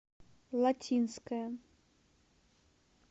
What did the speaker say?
латинская